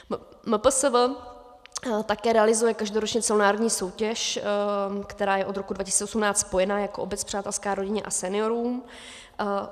MPSV také realizuje každoročně celonárodní soutěž, která je od roku 2018 spojená jako Obec přátelská rodině a seniorům.